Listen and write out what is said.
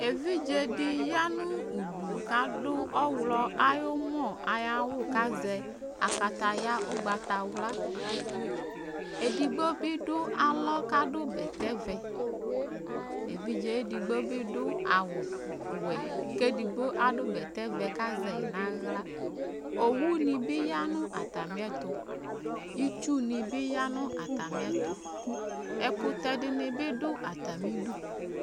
̌ɛvidzɛ yɑɲụdu ƙɑdu ɔḥlo ɑyumo ɑyɑwu kɑzɛ ɑkɑtɑyɑ ωgbɑtɑwlɑ ɛɗigbo biɗu ɑlɔ kɑɗubɛtɛvé ɛvidzɛ ɛɗigbo biɗu ɑwωwɛ kɛɗigbo ɑdubétɛvɛ kɑzɛiɲɑhlɑ ɔwunibiyɑ ɲɑtɑmiɛtu ĩtsunibiyɑ ɲɑtɑmiɛtu ɛkuté ɲibiɗu ɑtɑmiɗu